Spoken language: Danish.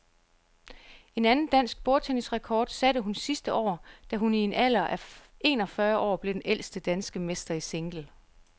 En anden dansk bordtennisrekord satte hun sidste år, da hun i en alder af en og fyrre år blev den ældste danske mester i single.